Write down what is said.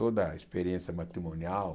Toda a experiência matrimonial,